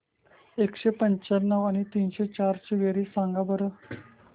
एकशे पंच्याण्णव आणि तीनशे चार ची बेरीज सांगा बरं